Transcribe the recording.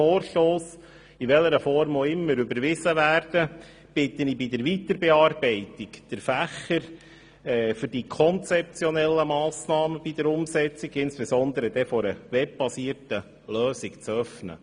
Sollte er, in welcher Form auch immer, überwiesen werden, bitte ich darum, bei der Weiterbearbeitung den Fächer für die konzeptionellen Massnahmen bei der Umsetzung, insbesondere bei einer webbasierten Lösung, zu öffnen.